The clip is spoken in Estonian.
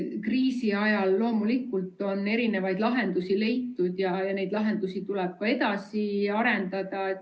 Kriisi ajal on loomulikult erinevaid lahendusi leitud ja neid lahendusi tuleb ka edasi arendada.